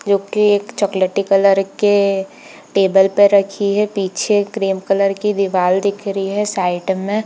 जो की एक चॉकलेटी कलर के टेबल के पर रखी हैपीछे क्रीम कलर की दीवाल दिख रही हैसाइड मे।